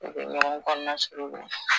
O be ɲɔgɔn kɔnɔna suruku